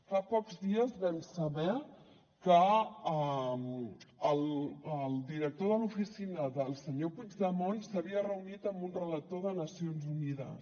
fa pocs dies vam saber que el director de l’oficina del senyor puigdemont s’havia reunit amb un relator de nacions unides